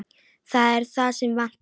Það er það sem vantar.